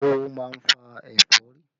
Oówo máa ń fa ẹ̀fọ́rí